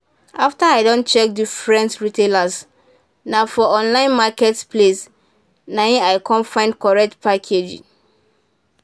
after i don check different retailers na for online market places nai i come find correct package.